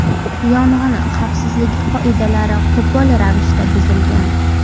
Yong‘in xavfsizligi qoidalari qo‘pol ravishda buzilgan.